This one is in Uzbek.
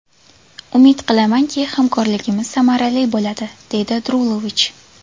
Umid qilamanki, hamkorligimiz samarali bo‘ladi”, – deydi Drulovich.